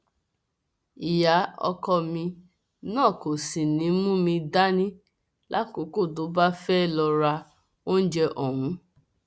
ìyá ọkọ mi náà kò sì ní í mú mi dání lákòókò tó bá fẹẹ lọọ ra oúnjẹ ọhún